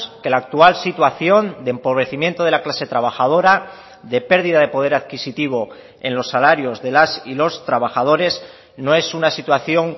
que la actual situación de empobrecimiento de la clase trabajadora de pérdida de poder adquisitivo en los salarios de las y los trabajadores no es una situación